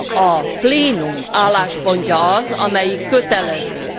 A plénum álláspontja az, amelyik kötelező.